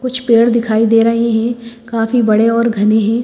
कुछ पेड़ दिखाई दे रहे हैं काफी बड़े और घने हैं।